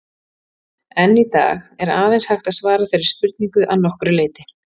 Enn í dag er aðeins hægt að svara þeirri spurningu að nokkru leyti.